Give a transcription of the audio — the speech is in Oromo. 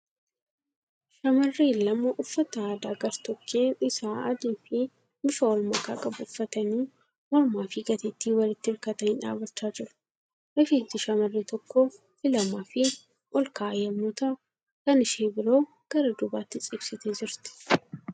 Shamarreen lama uffata aadaa gar-tokkeen isaa adii fi bifa wlmakaa qabu uffatanii mormaa fi gateettiin walitti hirkatanii dhaabachaa jiru. Rifeensi shamarree tokkoo filamaafi olka'aa yemmuu ta'u kan ishee biroo gara duubatti ciibsitee jirti.